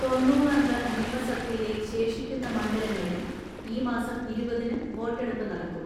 തൊണ്ണൂറ് അംഗ നിയമസഭയിലെ ശേഷിക്കുന്ന മണ്ഡല ങ്ങളിൽ ഈ മാസം ഇരുപതിന് വോട്ടെടുപ്പ് നടക്കും.